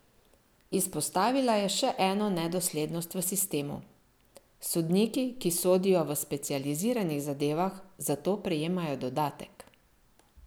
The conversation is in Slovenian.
Izpostavila je še eno nedoslednost v sistemu: "Sodniki, ki sodijo v specializiranih zadevah, za to prejemajo dodatek.